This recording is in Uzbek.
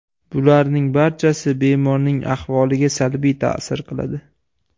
Bularning barchasi bemorning ahvoliga salbiy ta’sir qiladi.